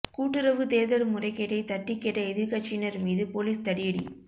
கூட்டுறவு தேர்தல் முறைகேட்டை தட்டி கேட்ட எதிர்க்கட்சியினர் மீது போலீஸ் தடியடி